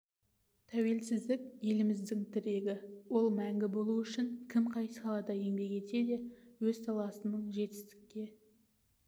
тәуелсіздік еліміздің тірегі ол мәңгі болуы үшін кім қай салада еңбек етсе де өз саласының жетістікке